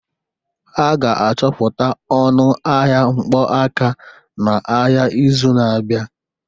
Ha ga-achọpụta ọnụ ahịa mkpọ aka n'ahịa n'izu na-abịa